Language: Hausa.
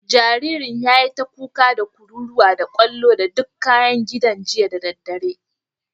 Jaririn yayi ta kuka, da kururuwa, da kwallo da dukan kayan gidan jiya da daddare.